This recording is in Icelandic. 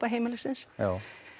heimilisins já